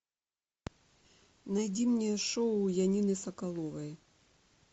найди мне шоу янины соколовой